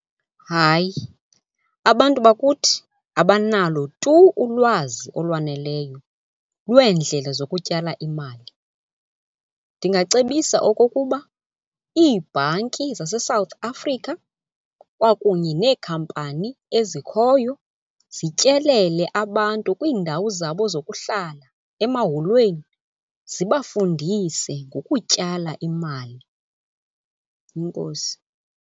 Hayi. Abantu bakuthi abanalo tu ulwazi olwaneleyo lweendlela zokutyala imali. Ndingacebisa okokuba ibhanki zaseSouth Africa kwakunye neekhampani ezikhoyo zityelele abantu kwiindawo zabo zokuhlala, emaholweni zibafundise ngokutyala imali. Enkosi.